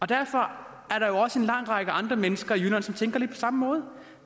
derfor er der jo også en lang række andre mennesker i jylland som tænker lidt på samme måde